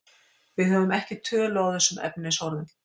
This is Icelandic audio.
Við höfum ekki tölu á þessum efnisorðum.